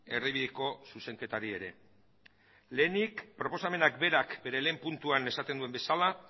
erdibideko zuzenketari ere lehenik proposamenak berak bere lehen puntuan esaten duen bezala